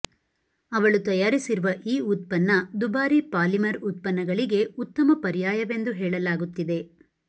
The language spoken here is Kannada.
ಅವಳು ತಯಾರಿಸಿರುವ ಈ ಉತ್ಪನ್ನದುಬಾರಿ ಪಾಲಿಮರ್ ಉತ್ಪನ್ನಗಳಿಗೆ ಉತ್ತಮ ಪರ್ಯಾಯವೆಂದು ಹೇಳಲಾಗುತ್ತಿದೆ